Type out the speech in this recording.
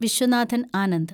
Viswanathan Anand